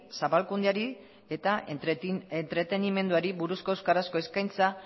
zabalkundeari eta entretenimenduari buruzko euskarazko eskaintza